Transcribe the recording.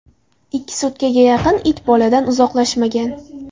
Ikki sutkaga yaqin it boladan uzoqlashmagan.